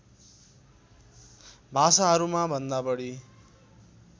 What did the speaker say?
भाषाहरूमा भन्दा बढी